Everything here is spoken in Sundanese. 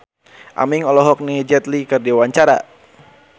Aming olohok ningali Jet Li keur diwawancara